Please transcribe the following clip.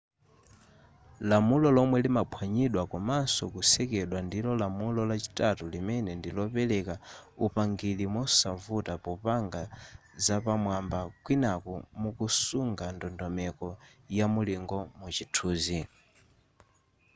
lamulo lomwe limaphwanyidwa komaso kusekedwa ndilo lamulo lachitatu limene ndi lopereka upangiri mosavuta popanga zapamwamba kwinaku mukusunga ndondomeko yamulingo mu chithunzi